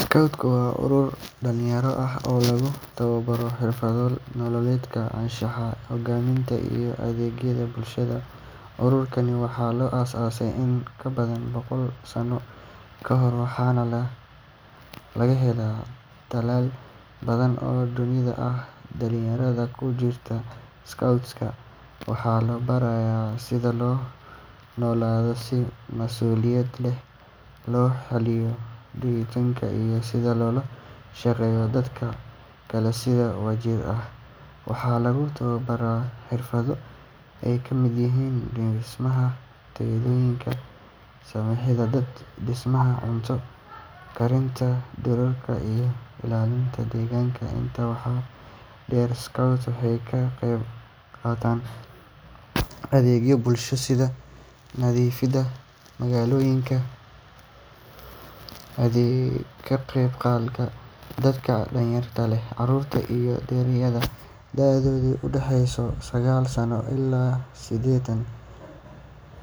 Scouts waa urur dhalinyaro ah oo lagu tababaro xirfado nololeed, anshax, hogaamin iyo adeeg bulshada. Ururkan waxaa la aasaasay in ka badan boqol sano ka hor, waxaana laga helaa dalal badan oo dunida ah. Dhalinyarada ku jirta scouts waxaa la barayaa sida loo noolaado si mas’uuliyad leh, loo xalliyo dhibaatooyinka, iyo sida loola shaqeeyo dadka kale si wadajir ah. Waxaa lagu tababaraa xirfado ay ka mid yihiin dhismaha teendhooyin, samatabbixin, dab-damiska, cunto karinta duurka, iyo ilaalinta deegaanka. Intaa waxaa dheer, scouts waxay ka qayb qaataan adeegyo bulsho sida nadiifinta magaalooyinka, ka qeybgalka xafladaha qaran iyo caawinta dadka danyarta ah. Carruurta iyo dhallinyarada da’doodu u dhaxayso sagaal sano ilaa siddeetan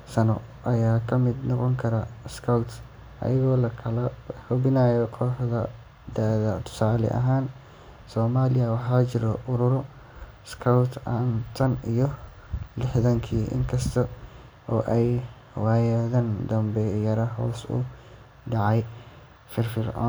sano ayaa ka mid noqon kara scouts, iyadoo loo kala qeybiyo kooxo da’ ah. Tusaale ahaan, Soomaaliya waxaa jiray ururo scouts ah tan iyo lixdamaadkii, inkasta oo ay waayadan dambe yara hoos u dhacday firfircoonidooda,